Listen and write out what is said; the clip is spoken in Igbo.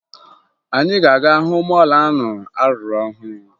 Anyị ga-aga hụ mọọlụ ahụ a rụrụ ọhụrụ